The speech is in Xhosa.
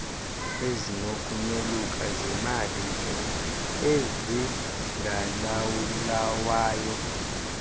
ezinokunyoluka zeemalike ezingalawulwayo